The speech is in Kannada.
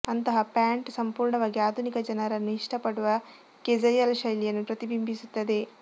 ಅಂತಹ ಪ್ಯಾಂಟ್ ಸಂಪೂರ್ಣವಾಗಿ ಆಧುನಿಕ ಜನರನ್ನು ಇಷ್ಟಪಡುವ ಕೆಝುಯಲ್ ಶೈಲಿಯನ್ನು ಪ್ರತಿಬಿಂಬಿಸುತ್ತದೆ